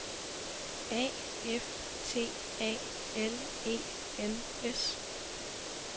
A F T A L E N S